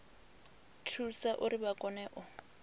thusa uri vha kone u